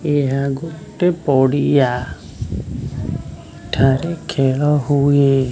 ଏହା ଗୋଟେ ପଡିଆ ଏଠାରେ ଖେଳ ହୁଏ।